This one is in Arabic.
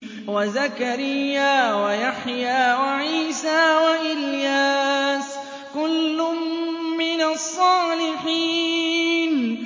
وَزَكَرِيَّا وَيَحْيَىٰ وَعِيسَىٰ وَإِلْيَاسَ ۖ كُلٌّ مِّنَ الصَّالِحِينَ